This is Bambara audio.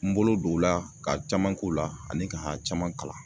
N bolo don o la ka caman k'o la ani ka caman kalan